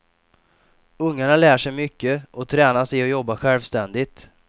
Ungarna lär sig mycket, och tränas i att jobba självständigt.